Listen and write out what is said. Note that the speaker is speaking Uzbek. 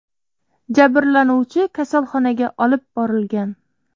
Jabrlanuvchi kasalxonaga olib borilgan.